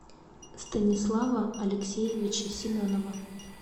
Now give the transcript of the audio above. станислава алексеевича семенова